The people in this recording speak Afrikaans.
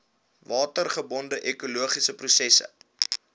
watergebonde ekologiese prosesse